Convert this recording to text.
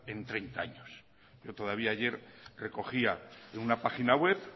en treinta años pero todavía ayer recogía en una página web